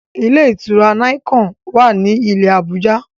Ilé-ìtura Nicon wá ní ilé Abuja